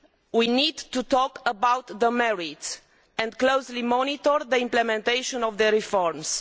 We need to talk about the merits and closely monitor the implementation of the reforms.